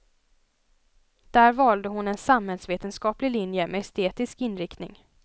Där valde hon en samhällsvetenskaplig linje med estetisk inriktning.